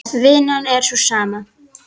Vinnan er sú sama.